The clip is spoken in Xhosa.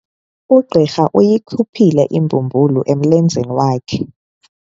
Ugqirha uyikhuphile imbumbulu emlenzeni wakhe.